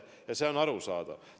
Nii et see on arusaadav.